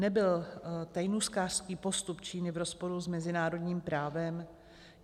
Nebyl tajnůstkářský postup Číny v rozporu s mezinárodním právem?